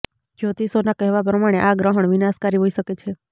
જ્યોતિષોના કહેવા પ્રમાણે આ ગ્રહણ વિનાશકારી હોઈ શકે છે